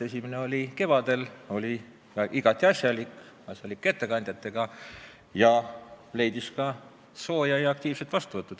Esimene kord oli kevadel, oli igati asjalik, asjalike ettekandjatega arutelu ja leidis teie poolt ka sooja ja aktiivset vastuvõttu.